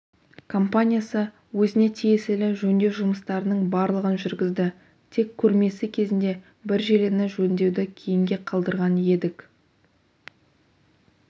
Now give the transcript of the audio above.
компаниясы өзіне тиесілі жөндеу жұмыстарының барлығын жүргізді тек көрмесі кезінде бір желіні жөндеуді кейінге қалдырған едік